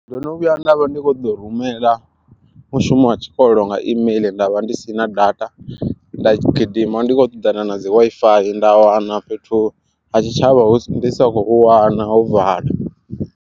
Ndo no vhuya nda vha ndi kho ḓo rumela mushumo wa tshikolo nga imeiḽi ndavha ndi si na data nda gidima ndi khou ṱoḓana na dzi WiFi nda wana fhethu ha tshitshavha ndi sa khou hu wana ho vala.